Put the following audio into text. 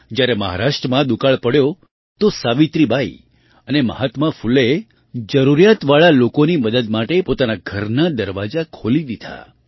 જ્યારે મહારાષ્ટ્રમાં દુકાળ પડ્યો તો સાવિત્રીબાઈ અને મહાત્મા ફૂલેએ જરૂરિયાતવાળા લોકોની મદદ માટે પોતાના ઘરના દરવાજા ખોલી દીધા